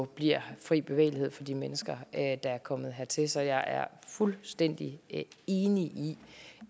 bliver fri bevægelighed for de mennesker der er kommet hertil så jeg er fuldstændig enig i